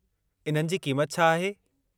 इन्हनि जी क़ीमति छा आहे?